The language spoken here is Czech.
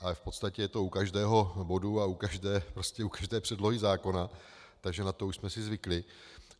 Ale v podstatě je to u každého bodu a u každé předlohy zákona, takže na to už jsme si zvykli.